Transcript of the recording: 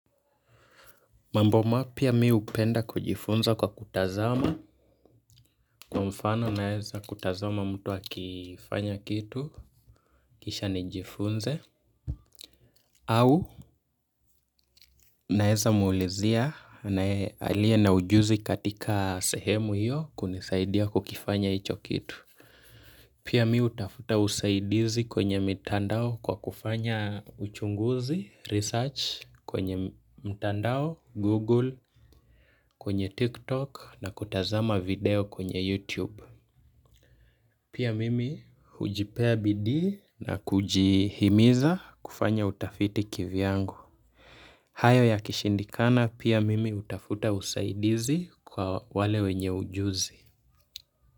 Mambo mapya mi hupenda kwa kujifunza kwa kutazama kwa mfano naeza kutazama mtu aki kifanya kitu kisha nijifunze au naeza muulizia na aliye na ujuzi katika sehemu hiyo kunisaidia kukifanya hicho kitu. Pia mihutafuta usaidizi kwenye mtandao kwa kufanya uchunguzi, research kwenye mtandao, google, kwenye tiktok na kutazama video kwenye youtube. Pia mimi hujipea bidii na kujihimiza kufanya utafiti kivyangu. Hayo ya kishindikana pia mimi hutafuta usaidizi kwa wale wenye ujuzi.